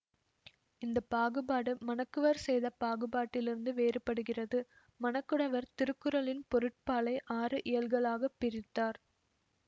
இந்த பாகுபாடு மணக்குவர் செய்த பாகுபாட்டிலிருந்து வேறுபடுகிறது மணக்குடவர் திருக்குறளின் பொருட்பாலை ஆறு இயல்களாகப் பிரித்தார்